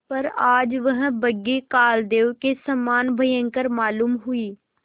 पर आज वह बग्घी कालदेव के समान भयंकर मालूम हुई